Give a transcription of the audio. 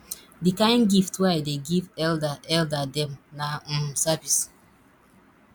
di kain gift wey i dey give elda elda dem na um service